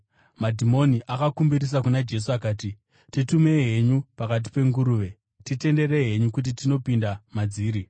Madhimoni akakumbirisa kuna Jesu akati, “Titumei henyu pakati penguruve, titenderei henyu kuti tinopinda madziri.”